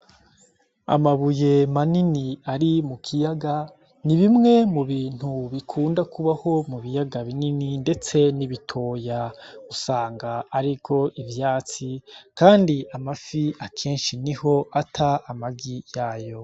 Amabuye manini ari mu kiyaga ni bimwe mu bintu bikunda kubaho mu biyaga binini, ndetse n'ibitoya usanga ariro ivyatsi, kandi amafi akenshi ni ho ata amagi yayo.